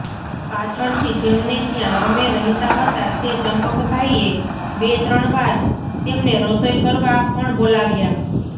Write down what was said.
પાછળથી જેમને ત્યાં અમે રહેતા હતા તે ચંપકભાઇએ બેત્રણ વાર તેમને રસોઇ કરવા પણ બોલાવ્યા